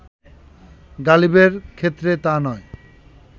গালিবের ক্ষেত্রে তা নয়